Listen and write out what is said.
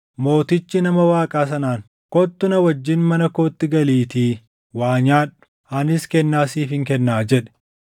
Mootichi nama Waaqaa sanaan, “Kottu na wajjin mana kootti galiitii waa nyaadhu; anis kennaa siifin kennaa” jedhe.